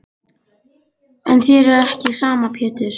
En þér er ekki sama Pétur.